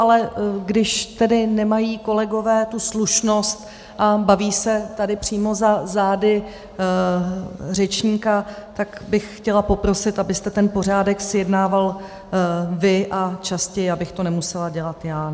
Ale když tedy nemají kolegové tu slušnost a baví se tady přímo za zády řečníka, tak bych chtěla poprosit, abyste ten pořádek zjednával vy a častěji, abych to nemusela dělat já.